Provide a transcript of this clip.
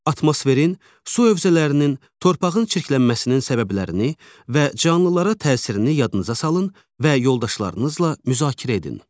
Atmosferin, su hövzələrinin, torpağın çirklənməsinin səbəblərini və canlılara təsirini yadınıza salın və yoldaşlarınızla müzakirə edin.